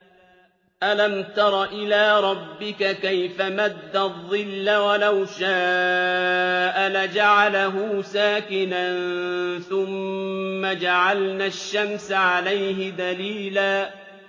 أَلَمْ تَرَ إِلَىٰ رَبِّكَ كَيْفَ مَدَّ الظِّلَّ وَلَوْ شَاءَ لَجَعَلَهُ سَاكِنًا ثُمَّ جَعَلْنَا الشَّمْسَ عَلَيْهِ دَلِيلًا